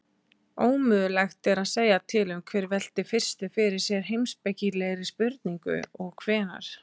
Ómögulegt er að segja til um hver velti fyrstur fyrir sér heimspekilegri spurningu og hvenær.